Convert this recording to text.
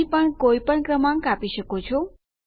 અહીં પણ કોઈપણ ક્રમાંક આપી શકો છો